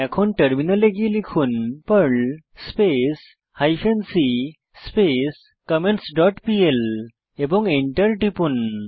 এখন টার্মিনালে গিয়ে লিখুন Perl space hyphen c space comments dot PL এবং এন্টার টিপুন